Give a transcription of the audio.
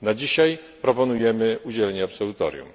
Na dzisiaj proponujemy, aby udzielić absolutorium.